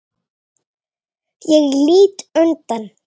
Ég lít undan.